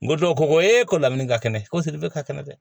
N ko dɔw ko ee ko lamini ka kɛnɛ ko seli bɛ ka kɛnɛ dɛ